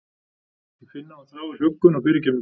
Ég finn að hún þráir huggun og fyrirgefningu.